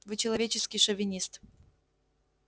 вы человеческий шовинист